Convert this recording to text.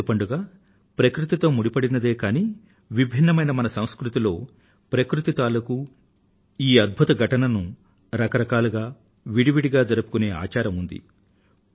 మన ప్రతి పండుగ ప్రకృతితో ముడిపడిందే కానీ విభిన్నమైన మన సంస్కృతిలో ప్రకృతి తాలూకూ ఈ అద్భుత ఘటనను రకరకాలుగా విడివిడిగా జరుపుకునే ఆచారం ఉంది